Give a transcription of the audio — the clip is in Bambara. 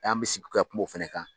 An mɛ sigi ka kuma o fɛnɛ kan.